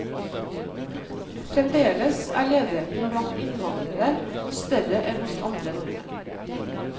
Fremdeles er ledigheten blant innvandrere større enn hos andre nordmenn.